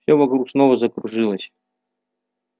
всё вокруг снова закружилось